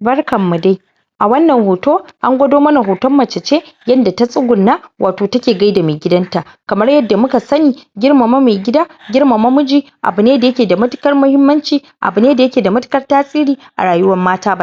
Barkan mu dai! A wannan hoto, an gwado mana hoton mace ce yanda ta tsugunna wato take gaida mai gidanta. Kamar yadda muka sani, girmama mai gida, girmama miji abu ne da ya ke da matuƙar mahimmanci abu ne da ya ke da matuƙar tasiri a rayuwar mata.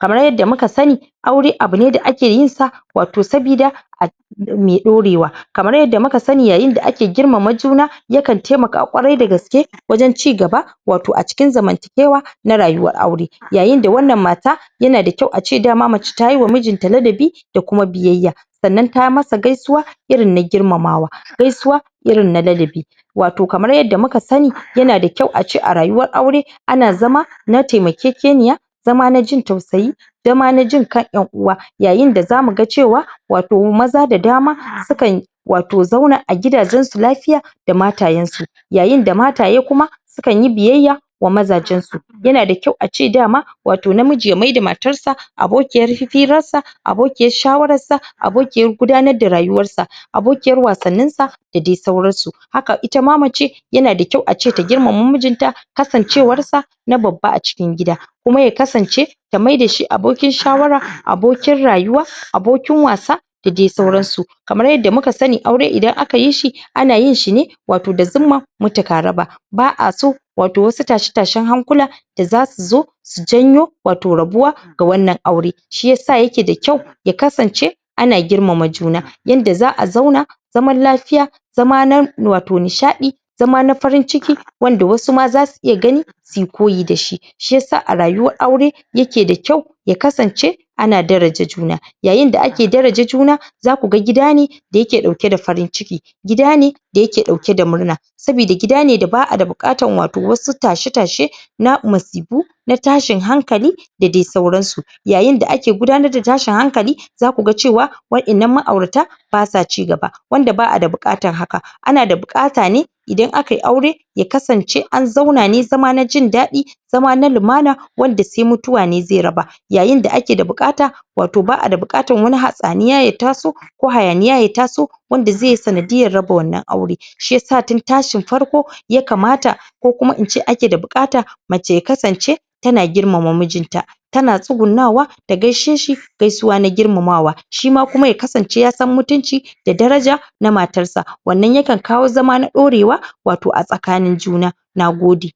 Kamar yadda muka sani aure abu ne da ake yin sa wato sabida a me ɗorewa Kamar yadda muka sani yayin da ake girmama juna yakan taimaka ƙwarai da gaske wajen cigaba wato a cikin zamantakewa na rayuwar aure. Yayin da wannan mata ya na kyau dama ace mace tayi wa mijinta ladabi da kuma biyayya. Sannan tayi masa gaisuwa irin na girmamawa, gaisuwa irin na ladabi. Wato kamar yadda muka sani ya na da kyau ace a rayuwar aure ana zama na taimakekeniya, zama na jin tausayi, zama na jin ka ƴan-uwa Yayin da za mu ga cewa wato maza da dama sukan wato zauna a gidajen su lafiya da matayen su. Yayin da mataye kuma sukan yi biyayya ga mazajen su. Ya na da kyau ace dama wato namiji ya maida matar sa abokiyar firarsa, abokiyar shawararsa, abokiyar gudanar da rayuwarsa, abokiyar wasanninsa da dai sauransu. Haka ita ma mace ya na da kyau ace ta girmama mijinta, kasancewara na babba a cikin gida. Kuma ya kasance ta maida shi abokin shawara, abokin rayuwa, abokin wasa, da dai sauran su. Kamar yadda muka sani aure idan aka yi shi ana yi shi ne wato da zimmar mutu ka raba. Ba'a so wato wasu tashe-tashen hankula da za su zo su janyo wato rabuwa ga wannan aure, shi yasa ya ke da kyau, ya kasance ana girmama juna, yanda za'a zauna zaman lafiya, zama na wato nishaɗi, zama na farin ciki wanda wasu ma za su iya gani suyi koyi da shi. Shi yasa a rayuwar aure ya ke da kyau ya kasance ana daraja juna. Yayin da ake daraja juna za ku ga gida ne da ya ke ɗake da farin ciki, gida ne da ya ke ɗauke da murna sabida gida ne ba'a da buƙatan wato wasu tashe-tashe na masifu, na tashin hankali, da dai sauran su. Yayin da ake gudanar da tashin hankali za ku ga cewa waƴannan ma'aurata ba sa cigaba. Wanda ba'a da buƙatan haka. Ana da buƙata ne idan aka yi aure, ya kasance an zauna ne zama na jin daɗi zama na lumana, wanda sai mutuwa ne zai raba. Yayin da ake da buƙata, wato ba'ada buƙatan wani hatsaniya ya taso ko hayaniya ya taso wanda zai yi sanadiyan raba wannan aure. Shi yasa tun tashin farko ya kamata ko kuma ince ake da buƙata, mace ya kasance ta na girmama mijinta, ta na tsugunnawa ta gaishe shi, gaisuwa na girmamawa. Shi ma kuma ya kasance yasan mutuci da daraja na matar sa. Wannan yakan kawo zama na ɗorewa wato a tsakanin juna. Nagode!